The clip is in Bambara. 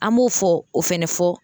An b'o fɔ o fɛnɛ fɔ.